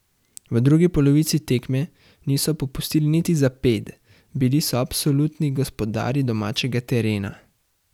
V drugi polovici tekme niso popustili niti za ped, bili so absolutni gospodarji domačega terena.